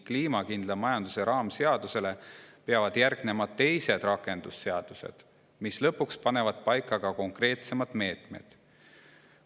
Kliimakindla majanduse raamseadusele peavad järgnema teised, rakendusseadused, mis lõpuks panevad paika ka konkreetsemad meetmed.